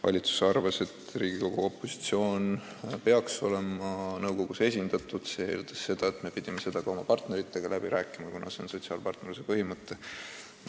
Valitsus aga arvas, et Riigikogu opositsioon peaks olema nõukogus esindatud, see eeldas seda, et me pidime selle ka oma partneritega läbi rääkima, kuna see on sotsiaalpartnerluse põhimõte.